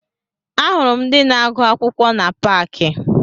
Ahụrụ m ndị na-agụ akwụkwọ na paakị